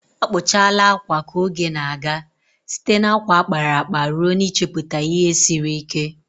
Akpụchala akwa ka oge na-aga, site na akwa a kpara akpa ruo n'ichepụta ihe siri ike.